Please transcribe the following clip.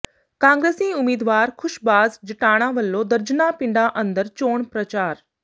ਕਾਂਗਰਸੀ ਉਮੀਦਵਾਰ ਖੁਸ਼ਬਾਜ਼ ਜਟਾਣਾ ਵੱਲੋਂ ਦਰਜਨਾਂ ਪਿੰਡਾਂ ਅੰਦਰ ਚੋਣ ਪ੍ਰਚਾਰ